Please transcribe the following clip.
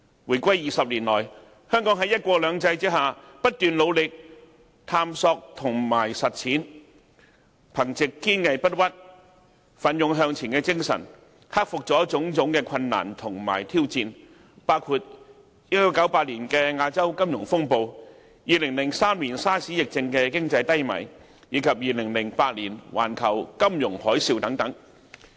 回歸20年來，香港在"一國兩制"下，不斷努力探索和實踐，憑藉堅毅不屈、奮勇向前的精神，克服了種種困難和挑戰，包括1998年亞洲金融風暴、2003年 SARS 疫症引致的經濟低迷，以及2008年環球金融海嘯等。